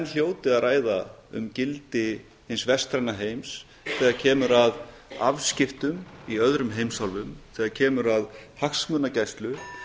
hljóti að ræða um gildi hins vestræna heims þegar kemur að afskiptum í öðrum heimsálfum þegar kemur að hagsmunagæslu